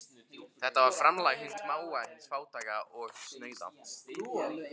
Þetta var framlag hins smáa, hins fátæka og snauða.